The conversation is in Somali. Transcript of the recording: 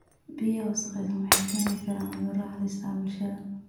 Biyaha wasakhaysan waxay keeni karaan cudurro halis ah bulshada.